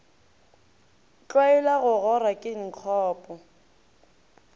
tlwaela go gora ke nkgopo